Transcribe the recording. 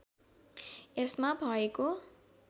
यसमा भएको